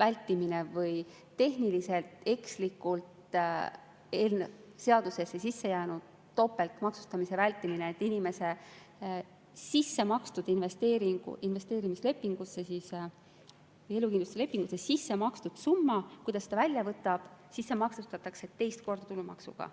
vältimine või tehniliselt ekslikult seadusesse sisse jäänud topeltmaksustamise vältimine, et inimese sissemakstud investeerimislepingusse või elukindlustuslepingusse sissemakstud summa, kui ta selle välja võtab, siis see maksustatakse teist korda tulumaksuga.